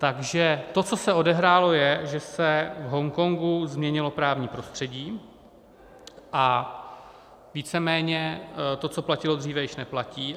Takže to, co se odehrálo, je, že se v Hongkongu změnilo právní prostředí a víceméně to, co platilo dříve, již neplatí.